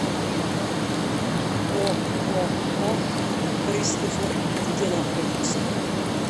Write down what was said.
ооо кристофер где находится